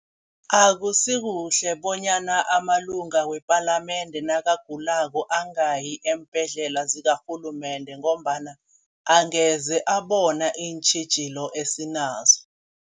Akusikuhle bonyana amalunga wepalamende nakagulako angayi eembhedlela zakarhulumende ngombana angeze abona iintjhijilo esinazo.